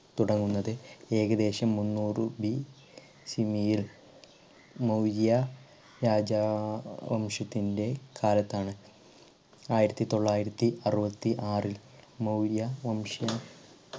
തുടങ്ങുന്നത് ഏകദേശം മുന്നൂറു BC യിൽ മൗര്യ രാജാ വംശത്തിൻറെ കാലത്താണ്. ആയിരത്തി തൊള്ളായിരത്തി അറുപത്തി ആറിൽ മൗര്യ വംശ.